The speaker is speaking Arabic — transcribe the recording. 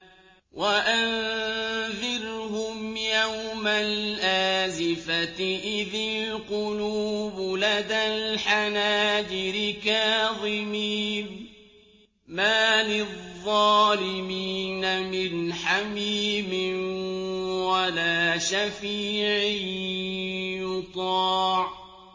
وَأَنذِرْهُمْ يَوْمَ الْآزِفَةِ إِذِ الْقُلُوبُ لَدَى الْحَنَاجِرِ كَاظِمِينَ ۚ مَا لِلظَّالِمِينَ مِنْ حَمِيمٍ وَلَا شَفِيعٍ يُطَاعُ